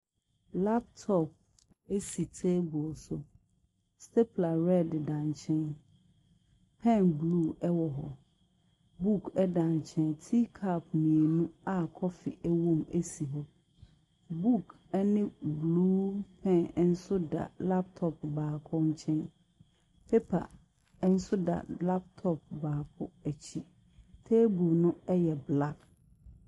Laptop si table so. Stapler red deda nkyɛn. Pen blue wɔ hɔ, book da nkyɛn. Tea cup mmienu a coffee wowom si hɔ. Nook ne blue pen nso da laptop baako nkyɛn. Paper baako nso da laptop baako akyi. Table no yɛ black.